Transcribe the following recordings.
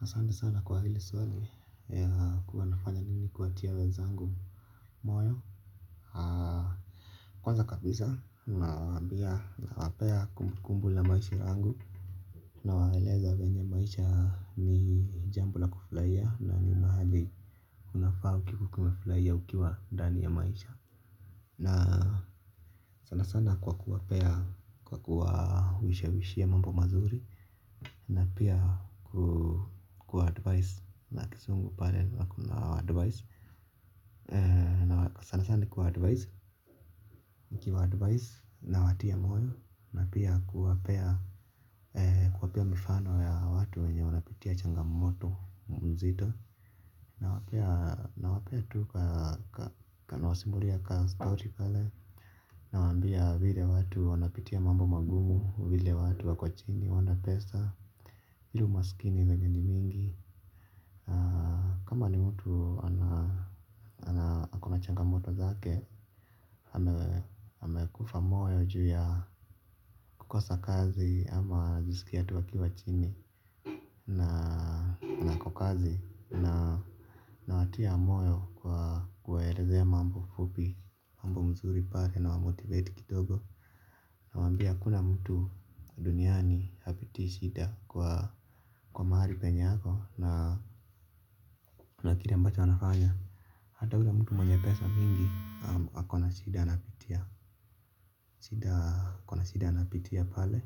Asante sana kwa hili swali ya kuwa nafanya nini kuwatia wenzangu moyo. Kwanza kabisa, ninawaambia nawapea kumbukumbu la maisha yangu. Unawaeleza venye maisha ni jambo la kufurahia na ni mahali, kunafaa ukifurahia ukiwa ndani ya maisha. Na sana sana kwa kuwapea kwa kuwa huishawishia mambo mazuri. Na pia kuwa advice na kisungu pale na kuwa advice sana sana kwa advice mkiwa advice nawatia moyo, na pia kuwapea mifano ya watu wenye wanapitia changamoto mzito. Nawapea tu kanawasimbuli ya kazi kauti pale. Nawaambia vile watu wanapitia mambo magumu, vile watu wako chini hawana pesa, vile umasikini venye ni mingi. Kama ni mtu kunachangamoto zake, amekufa moyo juu ya kukosa kazi, ama anajisikia tu akiwa chini, na kukazi, nawatia moyo kwa kuwaelezea mambo fupi mambo mzuri pale na wa motivate kidogo. Nawaambia hakuna mtu duniani hapitii shida, kwa mahali penye yako na kile ambacho anafanya. Hata yule mtu mwenye pesa mingi ako na shida anapitia shida kuna shida anapitia pale.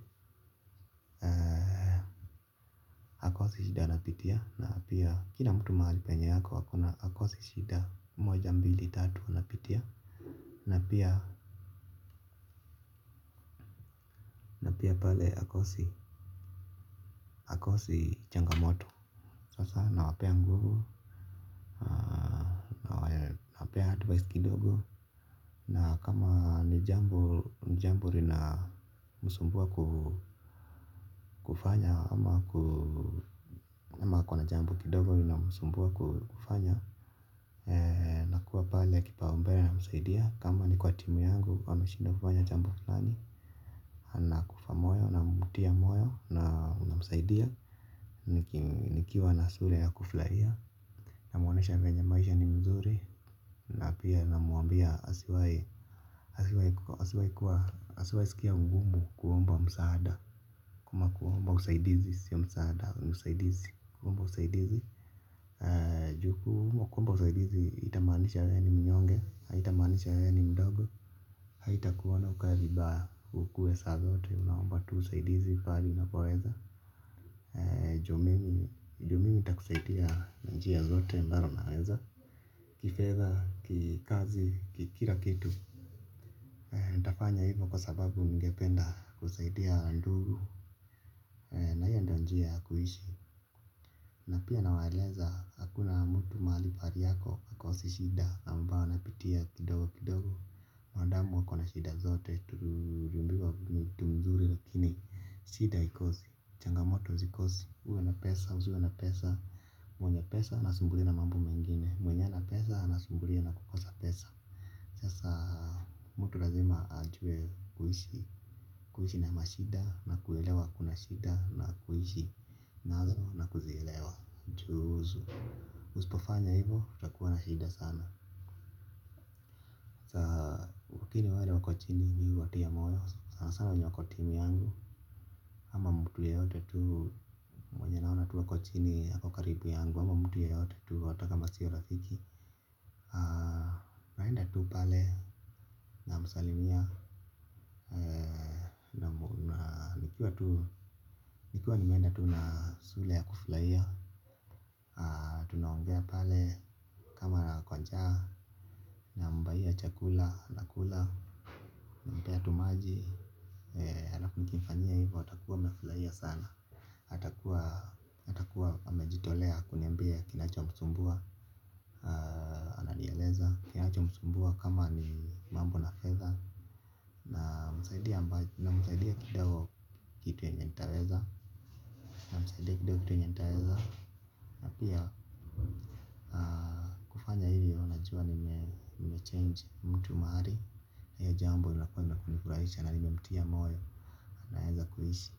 Hakosi shida anapitia na pia kila mtu mahali penye yako hakosi shida moja mbili tatu napitia na pia pale hakosi changamoto. Sasa nawapea nguvu, nawapea advice kidogo. Na kama ni jambo lina, msumbua kufanya, ama kuna jambo kidogo lina msumbua kufanya nakua pale kipaumbele namsaidia, kama ni kwa timu yangu wameshindwa kufanya jambo fulani. Anakufa moyo namtia moyo na msaidia. Nikiwa na sura ya kufurahia. Namwonesha venye maisha ni mzuri. Na pia namwambia asiwai asiwai sikia ungumu kuomba msaada. Kuma kuwomba usaidizi, si ya msaada, usaidizi. Kuomba usaidizi. Jukumu kuomba usaidizi, itamanisha ya ni mnyonge, itamanisha ya ni mdogo. Haitakuwana ukabibaa, kukue saa zote, unawomba tu usaidizi, fali na poeza ju mimi, ju mimi takusaidia na njia zote ambaro naweza. Kifedha, kikazi, kikira kitu. Natafanya hivyo kwa sababu ningependa kusaidia na nduru njia kuhishi. Na pia nawaeleza hakuna mtu mahali pari yako akosi shida. Nambawa napitia kidogo kidogo. Mwanadamu wako na shida zote tulumbiwa kitu mzuri lakini shida haikosi, changamoto zikosi, uwe na pesa, usiwe na pesa. Mwenye pesa anasumbuliwa na mambo mengine. Mwenye ana pesa anasumbulia na kukosa pesa sasa mtu lazima ajuwe kuhishi. Kuhishi na mashida na kuelewa kuna shida na kuelewa na kuelewa. Juu uspofanya hivo, utakuwa na mashida sana. Wakini wale wakochini ni watia moyo sana sana wenye wakotimu yangu. Ama mtu yoyote tu watu wakochini ako karibu yangu ama mtu yoyote tu hata kama siyo rafiki. Naenda tu pale na msalimia nikuwa tu ni menda tu nasule ya kuflaia. Tunaongea pale kama na kwanjaa na mbaia chakula na kula napea tu maji alafunikifania hivyo atakuwa mefilaia sana. Atakuwa amejitolea kunimbia kinacho msumbua ananieleza. Kinacho msumbua kama ni mambo na fedha. Namsaidia kidogo kitu yenye ntaweza. Msaidia kidogo kitu yenye ntaweza. Napia change mtu maari. Na hiyo jambo nilakwema laku ni kuflaisha na nimemtia moyo naeza kuhishi.